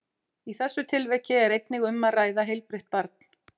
Í þessu tilviki er einnig um að ræða heilbrigt barn.